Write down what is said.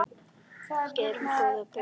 Gerum góða borg betri.